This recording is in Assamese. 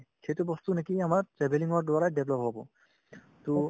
সেইটো বস্তু নেকি আমাৰ travelling ৰ দ্বাৰাই develop হ'ব to